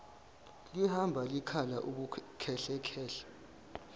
lihamba likhala ubukhehlekhehle